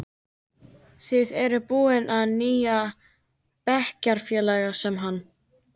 Þið eruð búin að fá nýjan bekkjarfélaga, sem hann.